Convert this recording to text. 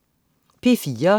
P4: